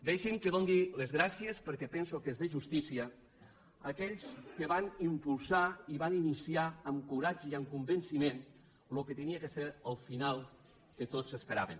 deixin me que doni les gràcies perquè penso que és de justícia a aquells que van impulsar i van iniciar amb coratge i amb convenciment el que havia de ser el final que tots esperaven